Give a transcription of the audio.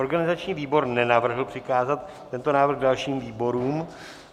Organizační výbor nenavrhl přikázat tento návrh dalším výborům.